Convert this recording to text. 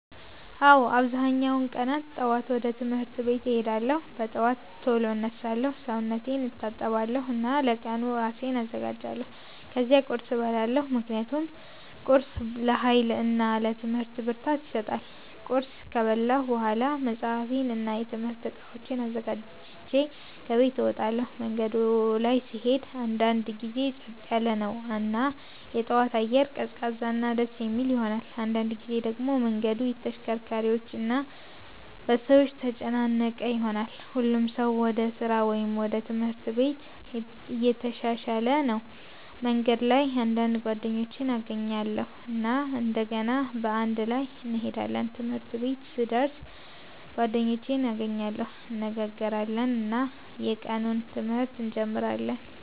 አዎ፣ አብዛኛውን ቀናት ጠዋት ወደ ትምህርት ቤት እሄዳለሁ። በጠዋት ቶሎ እነሳለሁ፣ ሰውነቴን እታጠባለሁ እና ለቀኑ እራሴን አዘጋጃለሁ። ከዚያ ቁርስ እበላለሁ ምክንያቱም ቁርስ ለኃይል እና ለትምህርት ብርታት ይሰጣል። ቁርስ ከበላሁ በኋላ መጽሐፌን እና የትምህርት እቃዎቼን አዘጋጅቼ ከቤት እወጣለሁ። መንገዱ ላይ ስሄድ አንዳንድ ጊዜ ጸጥ ያለ ነው እና የጠዋት አየር ቀዝቃዛ እና ደስ የሚል ይሆናል። አንዳንድ ጊዜ ደግሞ መንገዱ በተሽከርካሪዎች እና በሰዎች ተጨናነቀ ይሆናል፣ ሁሉም ሰው ወደ ስራ ወይም ወደ ትምህርት ቤት እየተሻሻለ ነው። በመንገድ ላይ አንዳንድ ጓደኞቼን እገናኛለሁ እና እንደገና በአንድ ላይ እንሄዳለን። ትምህርት ቤት ሲደርስ ጓደኞቼን እገናኛለሁ፣ እንነጋገራለን እና የቀኑን ትምህርት እንጀምራለን።